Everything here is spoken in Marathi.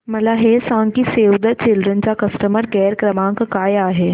मला हे सांग की सेव्ह द चिल्ड्रेन चा कस्टमर केअर क्रमांक काय आहे